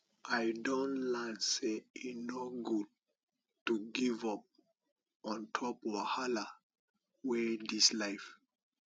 i don learn sey e no good to give up on top wahala wey dis life